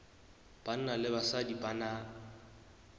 banna le basadi ba na